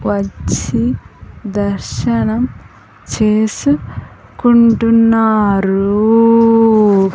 వచ్చి దర్శనం చేసుకుంటున్నారూ.